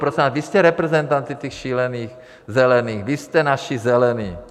Prosím vás, vy jste reprezentanti těch šílených Zelených, vy jste naši Zelení.